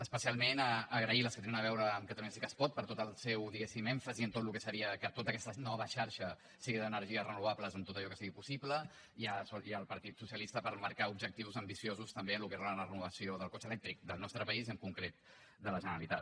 especialment agrair les que tenen a veure amb catalunya sí que es pot per tot el seu diguéssim èmfasi en tot el que seria que tota aquesta nova xarxa sigui d’energies renovables en tot allò que sigui possible i al partit socialista per marcar objectius ambiciosos també en el que és la renovació del cotxe elèctric del nostre país i en concret de la generalitat